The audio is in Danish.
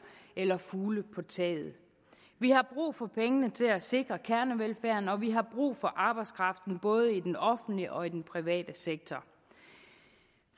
eller fugle på taget vi har brug for pengene til at sikre kernevelfærden og vi har brug for arbejdskraften både i den offentlige og i den private sektor